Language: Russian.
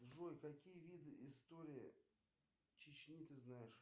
джой какие виды истории чечни ты знаешь